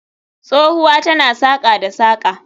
Tsohuwa tana saƙa da saƙa